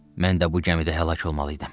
Mən də bu gəmidə həlak olmalıydım.